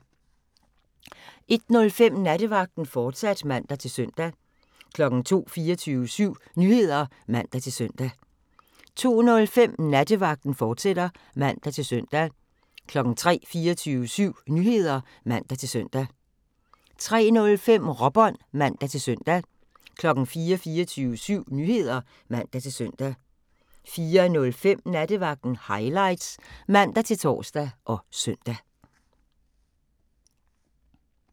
01:05: Nattevagten, fortsat (man-søn) 02:00: 24syv Nyheder (man-søn) 02:05: Nattevagten, fortsat (man-søn) 03:00: 24syv Nyheder (man-søn) 03:05: Råbånd (man-søn) 04:00: 24syv Nyheder (man-søn) 04:05: Nattevagten Highlights (man-tor og søn)